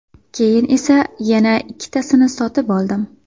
Keyin esa yana ikkitasini sotib oldim.